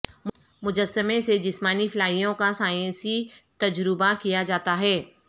مجسمے سے جسمانی فلائیوں کا سائنسی تجربہ کیا جاتا ہے